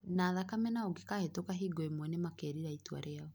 na thakame na ũngĩkahĩtũka hingo ĩmwe nĩ makerira itua rĩao.